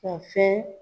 Ka fɛn